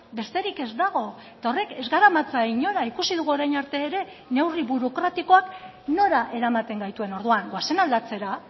besterik ez dago eta horrek ez garamatza inora ikusi dugu orain arte ere neurri burokratikoak nora eramaten gaituen orduan goazen aldatzera